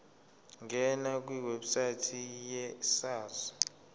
ngena kwiwebsite yesars